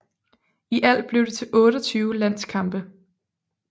I alt blev det til 28 landskampe